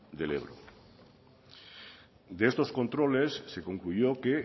del ebro de estos controles se concluyó que